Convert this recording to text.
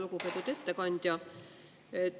Lugupeetud ettekandja!